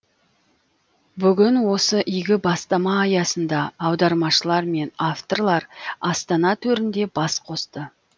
бүгін осы игі бастама аясында аудармашылар мен авторлар астана төрінде бас қосты